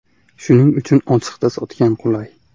Shuning uchun ochiqda sotgan qulay.